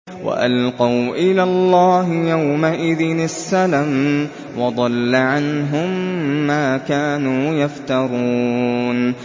وَأَلْقَوْا إِلَى اللَّهِ يَوْمَئِذٍ السَّلَمَ ۖ وَضَلَّ عَنْهُم مَّا كَانُوا يَفْتَرُونَ